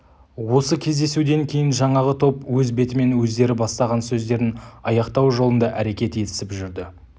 осы кездесуден кейін жаңағы топ өз бетімен өздері бастаған сөздерін аяқтау жолында әрекет етісіп жүрді